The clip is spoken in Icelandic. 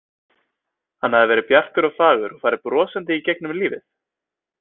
Hann hafði verið bjartur og fagur og farið brosandi gegnum lífið.